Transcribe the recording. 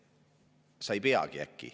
Sa ei peagi äkki.